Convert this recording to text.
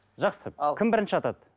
жақсы ал кім бірінші атады